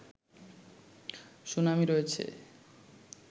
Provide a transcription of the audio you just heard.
শুনানি রয়েছে